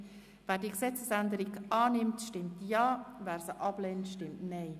Es liegt ein Rückweisungsantrag von Grossrat Löffel-Wenger vor.